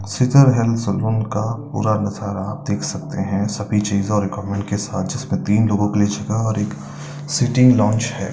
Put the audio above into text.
Scissor hair salon पूरा नजारा आप देख सकते हैं सभी चीज़ें और गोवर्नमेंट के साथ जिसमें तीन लोगो की जगह और एक सिटिंग लौंच है।